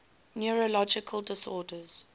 neurological disorders